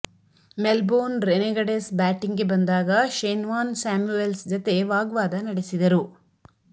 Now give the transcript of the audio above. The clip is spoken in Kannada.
ಮೆಲ್ಬೋರ್ನ್ ರೆನೆಗಡೆಸ್ ಬ್ಯಾಟಿಂಗ್ಗೆ ಬಂದಾಗ ಶೇನ್ವಾನ್ ಸ್ಯಾಮ್ಯುವೆಲ್ಸ್ ಜತೆ ವಾಗ್ವಾದ ನಡೆಸಿದರು